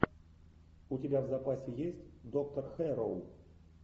у тебя в запасе есть доктор хэрроу